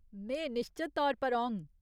में निश्चत तौर पर औङ।